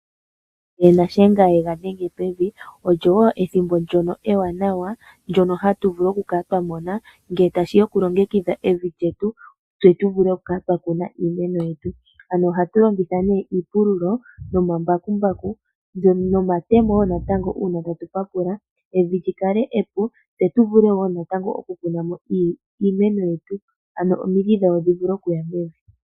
Nena Shiyenga yega dhenge pevi olyo ethimbo ndyono ewanawa ndyono hatu vulu okukala twa mona ngele tashi ya okulongekidha evi lyetu tse tu vule okukala twa kuna iimeno yetu. Ano ohatu longitha nee iipululo nomambakumbaku nomatemo wo natango uuna tatu papula evi lyi kale epu. Tse tu vule wo natango okukuna mo iimeno yetu ano omidhi dhawo dhi vule okuya mevi.